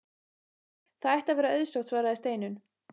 Það ætti að vera auðsótt svaraði Steinunn.